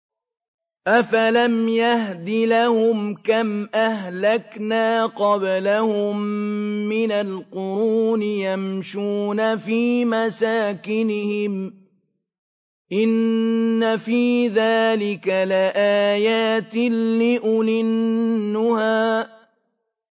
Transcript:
أَفَلَمْ يَهْدِ لَهُمْ كَمْ أَهْلَكْنَا قَبْلَهُم مِّنَ الْقُرُونِ يَمْشُونَ فِي مَسَاكِنِهِمْ ۗ إِنَّ فِي ذَٰلِكَ لَآيَاتٍ لِّأُولِي النُّهَىٰ